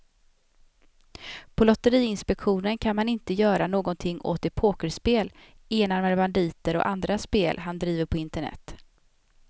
På lotteriinspektionen kan man inte göra någonting åt de pokerspel, enarmade banditer och andra spel han driver på internet.